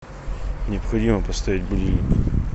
необходимо поставить будильник